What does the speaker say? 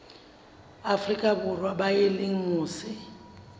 afrika borwa ba leng mose